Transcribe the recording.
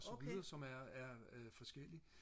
som lyder som er er øh forskellig